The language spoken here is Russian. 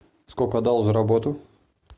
сколько отдал за работу